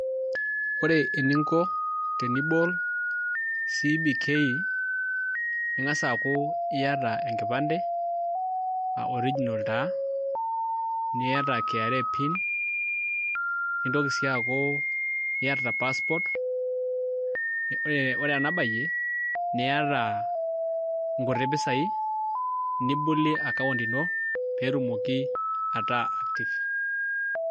Ore eninko tenibol cbk ning'asa aaku iata enkipande original taa niata kra pin nitoki si aaku iata passport ore enabayie niata nkuti pisai nibolie account ino petumoki ataa active